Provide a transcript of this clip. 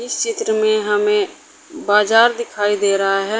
इस चित्र में हमें बाजार दिखाई दे रहा है।